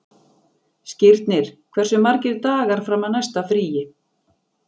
Skírnir, hversu margir dagar fram að næsta fríi?